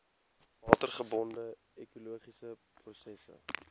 watergebonde ekologiese prosesse